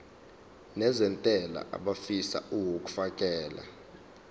nezentela abafisa uukfakela